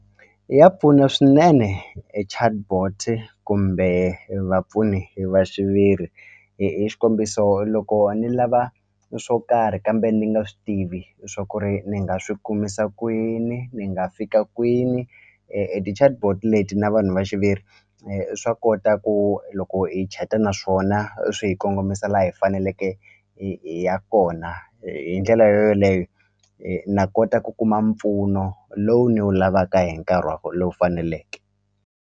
Ya pfuna swinene e chatbot kumbe vapfuni va xiviri hi hi xikombiso loko ni lava swo karhi kambe ni nga swi tivi leswaku ri ni nga swi kumisa ku yini ni nga fika kwini ti-chatbot leti na vanhu va xiviri swa kota ku loko hi chat-a na swona swi hi kongomisa la hi faneleke hi ya kona hi ndlela yo yoleyo na kota ku kuma mpfuno lowu ni wu lavaka hi nkarhi wa lowu faneleke.